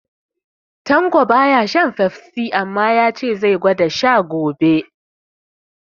Tanko baya shan Fefsi, amma ya ce ya zai gwada sha gobe